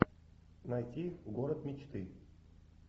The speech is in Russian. найти город мечты